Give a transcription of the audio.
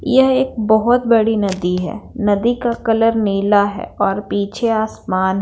यह एक बहुत बड़ी नदी है नदी का कलर नीला है और पीछे आसमान--